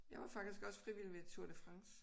Jeg var faktisk også frivillig ved Tour de France